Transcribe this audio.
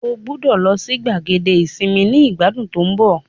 O gbọdọ lọ si gbàgede isinmi ni igbadun to n bo